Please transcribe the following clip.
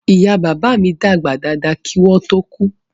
Ìyá bàbá mi dàgbà dáadáa kí wọ́n ó tó kú